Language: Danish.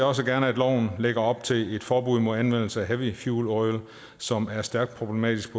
også gerne at loven lægger op til et forbud mod anvendelse af heavy fuel oil som er stærkt problematisk